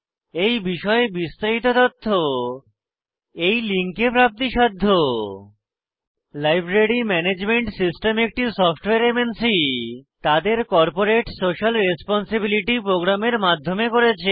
এই বিষয়ে বিস্তারিত তথ্য এই লিঙ্কে প্রাপ্তিসাধ্য spoken hyphen tutorial dot org slash NMEICT hyphen intro library management system একটি সফ্টওয়্যার এমএনসি তাদের কর্পোরেট সোশিয়াল রেসপন্সিবিলিটি প্রোগ্রামের মাধ্যমে করেছে